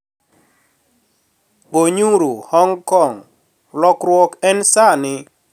" Gonyuru Hong Kong - Lokruok en sani.